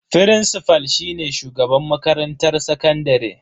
Firincifal shine shugaban makarantar sakandare.